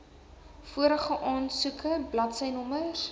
vorige aansoeke bladsynommers